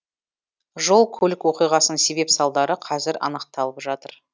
жол көлік оқиғасының себеп салдары қазір анықталып жатыр